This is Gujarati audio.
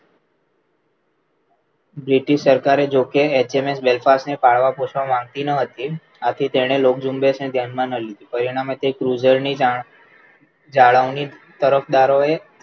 British સરકારે જોકે એચએમએસ British ને પાળવા પહોંચવા માગતી ન હતી ત્યાંથી તેણે લોક ઝુંબેશને ધ્યાનમાં ન લીધું. પરિણામે Cruiser ની ધારણા જાળવણી તરફદારોએ